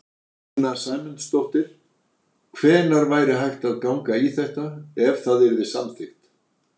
Sunna Sæmundsdóttir: Hvenær væri hægt að ganga í þetta, ef það yrði samþykkt?